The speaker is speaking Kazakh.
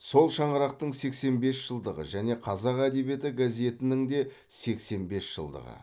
сол шаңырақтың сексен бес жылдығы және қазақ әдебиеті газетінің де сексен бес жылдығы